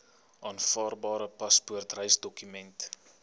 aanvaarbare paspoort reisdokument